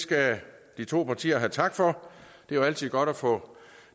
skal de to partier have tak for det er jo altid godt at få